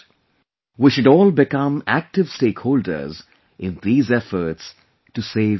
We should all become active stakeholders in these efforts to save lives